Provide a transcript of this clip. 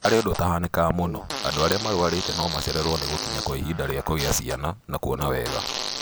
Harĩ ũndũ ũtahanĩkaga mũno, andũ arĩa marwarĩte no macererwo nĩ gũkinya gwa ihinda rĩa kũgĩa ciana, na kuona wega